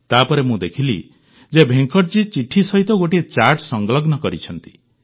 ତାପରେ ମୁଁ ଦେଖିଲି ଯେ ଭେଙ୍କଟଜୀ ଚିଠି ସହିତ ଗୋଟିଏ ଚାର୍ଟ ସଂଲଗ୍ନ କରିଛନ୍ତି